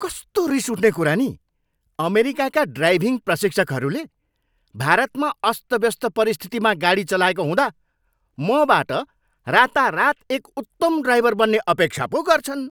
कस्तो रिसउठ्ने कुरा नि, अमेरिकाका ड्राइभिङ प्रशिक्षकहरूले भारतमा अस्तव्यस्त परिस्थितिमा गाडी चलाएको हुँदा मबाट रातारात एक उत्तम ड्राइभर बन्ने अपेक्षा पो गर्छन्।